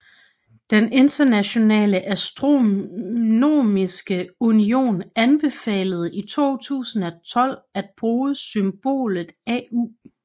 Den Internationale Astronomiske Union anbefalede i 2012 at bruge symbolet au